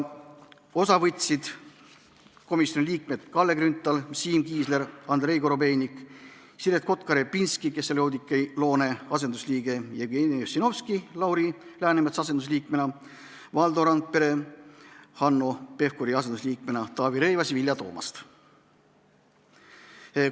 Osa võtsid komisjoni liikmed Kalle Grünthal, Siim Kiisler, Andrei Korobeinik, Siret Kotka-Repinski, kes oli Oudekki Loone asendusliige, Jevgeni Ossinovski Lauri Läänemetsa asendusliikmena, Valdo Randpere Hanno Pevkuri asendusliikmena ning Taavi Rõivas ja Vilja Toomast.